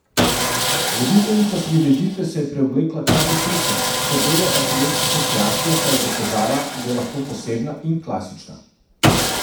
Voditeljica prireditve se je preoblekla kar desetkrat, s to belo asimetrično kreacijo pa je dokazala, da je lahko posebna in klasična.